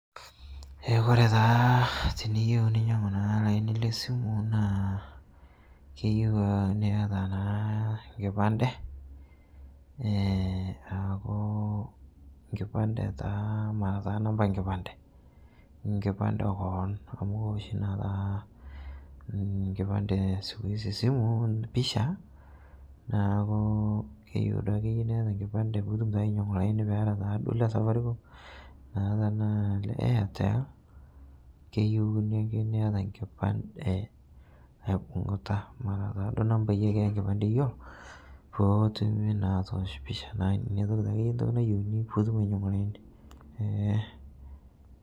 Keaku ore taa teniyeu ninyangu olaini lesimu na keyieu niata enkipande ee aaku matanamba enkipande enkipande keon amu keoshi na oshi skuizi enkipande esimu pisha neaku keyei nai ake niata enkipande niata na le le Safaricom niata ele le Airtel keyiunu ake niata enkipande aibungutapake nanbai ake enkipande eyieu petum na atoosh pisha, inake entoki nayieuni pitunm ee.